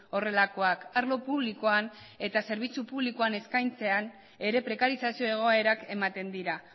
horrelakoak arlo publikoan eta zerbitzu publikoan eskaintzean ere prekarizazio egoerak ematen dira